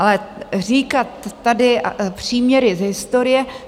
Ale říkat tady příměry z historie?